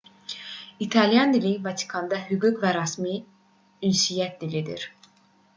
i̇talyan dili vatikanda hüquq və rəsmi ünsiyyət dilidir